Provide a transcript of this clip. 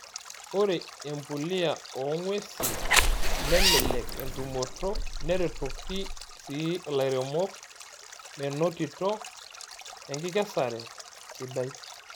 Ore empuliya oo ng'uesi nelelek entumoto neretoki sii ilairemok menotito enkikesare sidai.